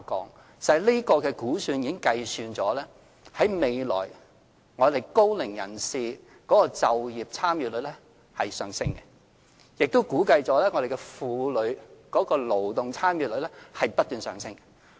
事實上，這個估算已計算了高齡人士就業參與率在未來的上升，亦估計婦女勞動參與率也不斷上升。